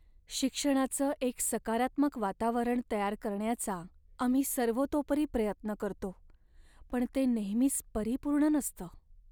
शिक्षणाचं एक सकारात्मक वातावरण तयार करण्याचा आम्ही सर्वतोपरी प्रयत्न करतो, पण ते नेहमीच परिपूर्ण नसतं.